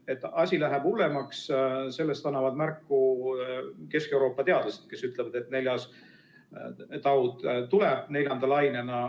Et asi läheb hullemaks, sellest annavad märku Kesk-Euroopa teadlased, kes ütlevad, et neljas laine tuleb.